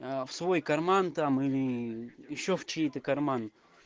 в свой карман там или ещё в чей-то карман